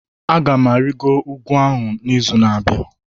Aga m arịgoro ugwu ahụ n'izu na-abịa